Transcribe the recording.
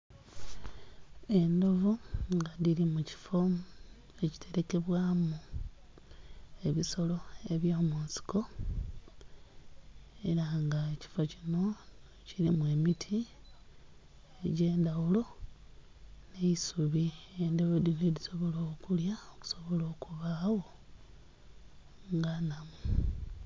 Endhovu nga dhili mu kifoo ekiterekebwamu ebisolo era nga ekifoo kinho kilimu emiti egye ndhaghulo nhe'isubi endhovu gyerisobola okulya okusobola okuba gho nga nnamu.